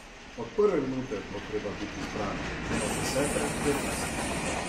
Od prve minute bo treba biti zbran, ne od desete, petnajste ...